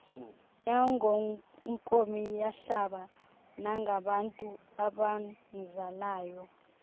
nangonkomiyahlaba nangabantu abamzalayo